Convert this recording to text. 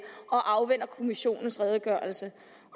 og afventer kommissionens redegørelse